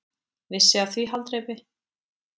Vissi af því haldreipi.